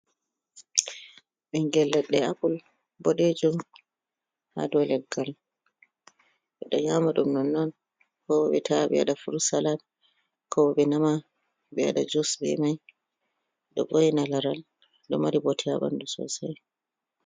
Ɓingel leɗɗe apple boɗejum ha dow leggal. ɓeɗo nyama ɗum nonnon, ko ɓe ta'a ɓe waɗa a furud salad, ko ɓe nama ɓe waɗa jus be mai ɗo vo'ina laral ɗo mari bote ha ɓandu sosai.